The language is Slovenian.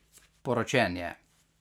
Poročen je.